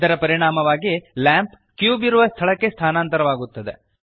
ಇದರ ಪರಿಣಾಮವಾಗಿ lamp cube ಇರುವ ಸ್ಥಳಕ್ಕೆ ಸ್ಥಾನಾಂತರವಾಗುತ್ತದೆ